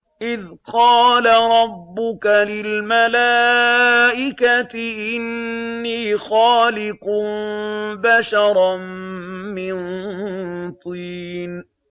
إِذْ قَالَ رَبُّكَ لِلْمَلَائِكَةِ إِنِّي خَالِقٌ بَشَرًا مِّن طِينٍ